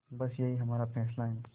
बस यही हमारा फैसला है